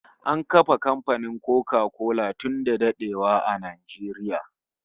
An kafa kamfanin Koka kola tun da dadewa a Najeriya